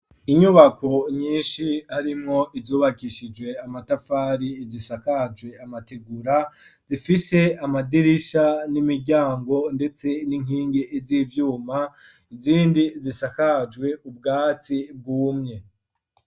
Inyubako nyinshi harimwo izubakishije amatafari ,izisakajwe amategura zifise amadirisha n'imiryango ,ndetse n'inkingi z’ivyuma, izindi zisakajwe ubwatsi bwumye.